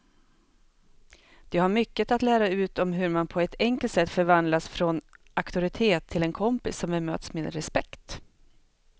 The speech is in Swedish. De har mycket att lära ut om hur man på ett enkelt sätt förvandlas från auktoritet till en kompis som bemöts med respekt.